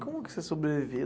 Como que você sobreviveu?